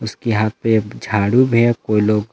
इसके हाथ पे एक झाड़ू भी है वो लोग--